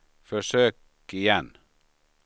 försök igen